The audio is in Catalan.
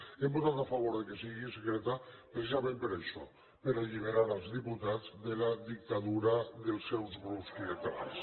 hem votat a favor que sigui secreta precisament per això per alliberar els diputats de la dictadura dels seus grups clientelars